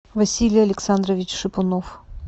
василий александрович шипунов